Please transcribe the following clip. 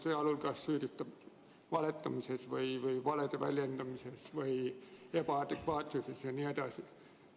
Sealhulgas süüdistab ta teda valetamises või valede väljendamises ja ebaadekvaatsuses jne.